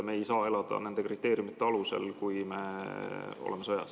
Me ei saa elada nende kriteeriumide alusel, kui me oleme sõjas.